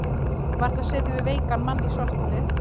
Varla setjum við veikan mann í svartholið?